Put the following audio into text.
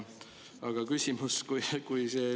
Aga küsimus.